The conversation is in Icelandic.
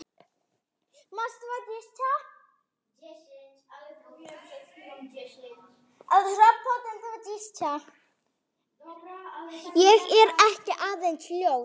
Ég er ekki aðeins ljón.